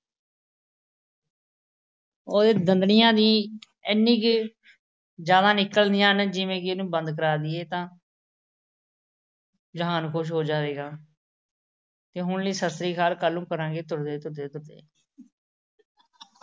ਉਹਦੇ ਦੰਦੜੀਆਂ ਵੀ ਐਨੀਆਂ ਕੁ ਜ਼ਿਆਦਾ ਨਿਕਲਦੀਆਂ ਹਨ ਜਿਵੇਂ ਕਿ ਇਹਨੂੰ ਬੰਦ ਕਰਾ ਦੇਈਏ ਤਾਂ ਜਹਾਨ ਖੁਸ਼ ਹੋ ਜਾਏਗਾ। ਤੇ ਹੁਣ ਲਈ ਸਤਿ ਸ੍ਰੀ ਅਕਾਲ, ਕੱਲ੍ਹ ਨੂੰ ਕਰਾਂਗੇ ਤੁਰਦੇ ਤੁਰਦੇ ਤੁਰਦੇ।